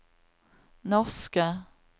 norske